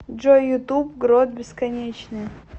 джой ютуб грот бесконечная